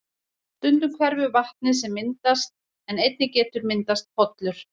Stundum hverfur vatnið sem myndast en einnig getur myndast pollur.